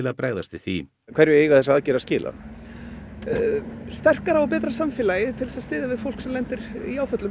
að bregðast við því hverju eiga þessar aðgerðir að skila sterkara og betra samfélagi til þess að styðja við fólk sem lendir í áföllum